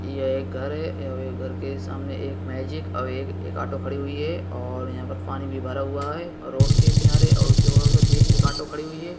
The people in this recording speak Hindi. ये एक घर है और ये घर के सामने एक मैजिक अव एक आटो खड़ी हुईं है और यहां पर पानी भी भरा हुआ है रोड के किनारे और उसके बगल पर भी एक आटो खड़ी हुई है।